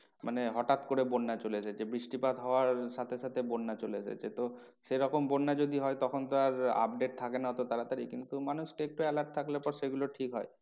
মানে হঠাৎ করে বন্যা চলে এসেছে বৃষ্টিপাত হওয়ার সাথে সাথে বন্যা চলে এসেছে তো সেরকম বন্যা যদি হয় তখন তো আর update থাকে না এত তাড়াতাড়ি কিন্তু মানুষকে একটু alert থাকলে পর সেগুলো ঠিক হয়।